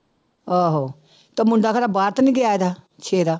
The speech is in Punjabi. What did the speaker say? ਆਹੋ ਤੇ ਮੁੰਡਾ ਕਹਿੰਦਾ ਬਾਹਰ ਤਾਂ ਸੇਰਾ